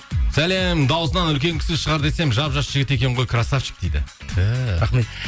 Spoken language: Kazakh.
сәлем дауысынан үлкен кісі шығар десем жап жас жігіт екен ғой красавчик дейді түһ рахмет